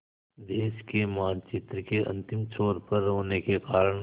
देश के मानचित्र के अंतिम छोर पर होने के कारण